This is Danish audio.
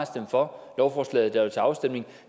stemt for lovforslaget der var til afstemning